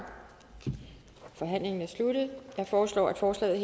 forhandlingen sluttet jeg foreslår at forslaget